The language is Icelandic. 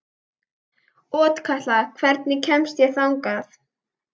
Otkatla, hvernig kemst ég þangað?